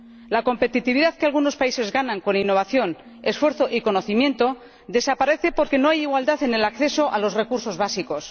La competitividad que algunos países ganan con innovación, esfuerzo y conocimiento desaparece porque no hay igualdad en el acceso a los recursos básicos.